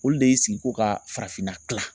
Olu de y'i sigi ko ka farafinna kila.